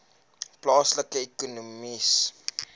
plaaslike ekonomiese